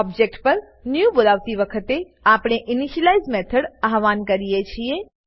object પર new બોલાવતી વખતે આપણે ઇનિશિયલાઇઝ મેથોડ આવ્હાન કરીએ છીએ